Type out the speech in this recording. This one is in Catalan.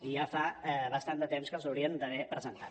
i ja fa bastant de temps que els haurien d’haver presentat